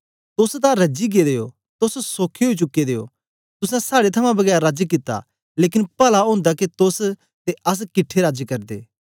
तोस तां रजी गेदे ओ तोस सोखे ओई चुके दे ओ तुसें साड़े थमां बगैर राज कित्ता लेकन पला ओंदा के तोस ते अस किट्ठे राज करदे